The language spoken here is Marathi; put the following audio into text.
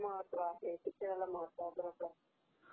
is not Clear